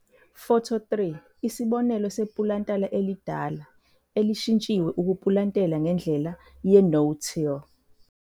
Photo 3- Isibonelo sepulantala elidala elishintshiwe ukupulantela ngendlela ye'no-till'.